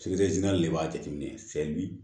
de b'a jateminɛ